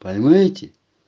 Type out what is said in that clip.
поймаете